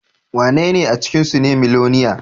Wanene a cikinsu ne miloniya?